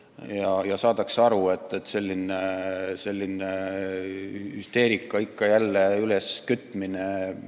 Loodetavasti saadakse aru, et selline hüsteeria ikka jälle üleskütmine on alusetu.